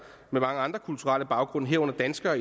med mange andre kulturelle baggrunde herunder danskere